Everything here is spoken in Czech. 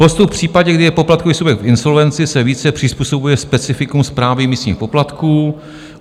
Postup v případě, kdy je poplatkový subjekt v insolvenci, se více přizpůsobuje specifikům správy místních poplatků.